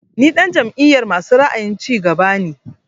Ni ɗan jam'iyar masu ra'ayin cigaba ne